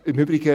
Im Übrigen: